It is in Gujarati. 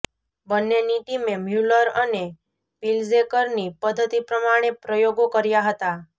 બંનેની ટીમે મ્યૂલર અને પિલ્જેકરની પદ્ધતિ પ્રમાણે પ્રયોગો કર્યા હતા